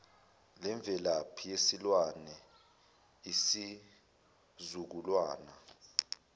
lemvelaphi yesilwane izizukulwana